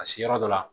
A se yɔrɔ dɔ la